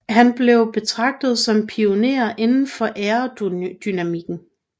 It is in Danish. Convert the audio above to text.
Han blev betragtet som pionér inden for aerodynamikken